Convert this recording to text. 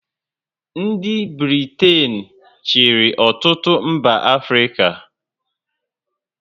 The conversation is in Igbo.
Ndị Britain chịrị ọtụtụ mba Africa